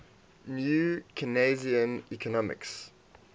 new keynesian economics